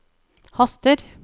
haster